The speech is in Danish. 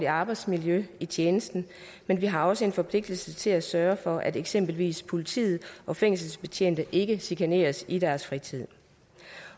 arbejdsmiljø i tjenesten men vi har også en forpligtelse til at sørge for at eksempelvis politi og fængselsbetjente ikke chikaneres i deres fritid